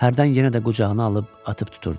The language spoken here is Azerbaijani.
Hərdən yenə də qucağına alıb atıb tuturdu.